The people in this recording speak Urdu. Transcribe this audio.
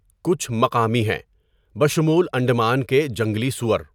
کچھ مقامی ہیں، بشمول انڈمان کے جنگلی سؤر۔